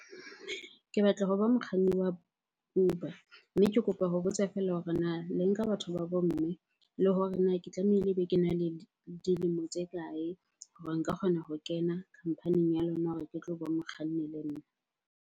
Ke batla ho ba mokganni wa Uber mme ke kopa ho botsa fela hore na le nka batho ba bo mme? Le hore na ke tlamehile be kena le dilemo tse kae hore nka kgona ho kena khampaning ya lona hore ke tlo ba mokganni le nna?